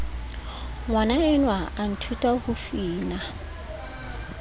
ngwanaenwa a nthuta ho fina